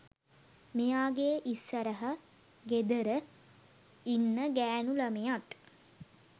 මෙයාගේ ඉස්සරහ ගෙදර ඉන්න ගෑනු ළමයත්